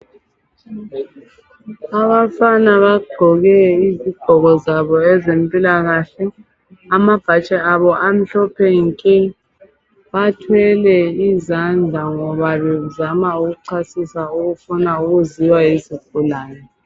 Abafana bagqoke izigqoko zabo ezempilakahle amabhatshi abo amhlophe nke bathwele izandla ngoba bazama ukuchasisa okufuna ukuziwe yizigulane.